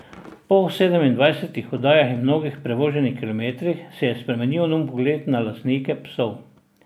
Po sedemindvajsetih oddajah in mnogih prevoženih kilometrih se je spremenil njun pogled na lastnike psov.